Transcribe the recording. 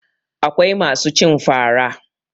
Akwai masu cin fara